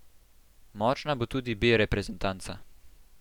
Močna bo tudi B reprezentanca.